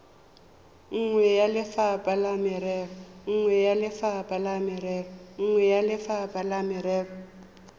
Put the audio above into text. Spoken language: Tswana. nngwe ya lefapha la merero